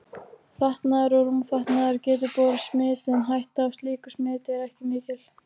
Fatnaður og rúmfatnaður getur borið smit en hætta á slíku smiti er ekki mikil.